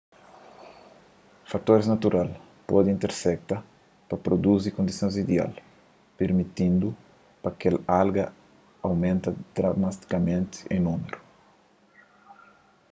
fatoris natural pode intersekta pa pruduzi kondisons ideal pirmitindu pa kel alga aumenta dramatikamenti en númeru